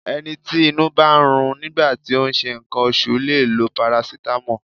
Ẹni tí inú bá ń run nígbà tí ó ń ṣe nǹkan oṣù lè lo parasitamọ́ọ̀.